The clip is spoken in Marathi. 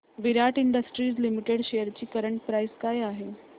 विराट इंडस्ट्रीज लिमिटेड शेअर्स ची करंट प्राइस काय आहे